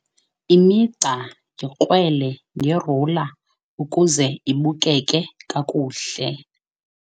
Imigca yikrwele ngerula ukuze ibukeke kakuhle.